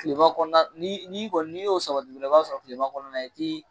Tilema kɔnɔna i kɔni n'i y'o sabati i b'a sɔrɔ tilema kɔnɔna i ti